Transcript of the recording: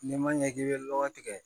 N'i ma ɲɛ k'i bɛ lɔgɔ tigɛ